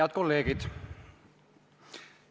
Head kolleegid!